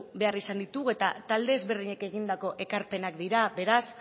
behar izan ditugu eta talde ezberdinek egindako ekarpenak dira beraz